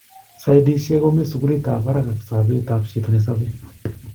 sidesiek komii sukulit ap parak ak sapet ap chito nesapei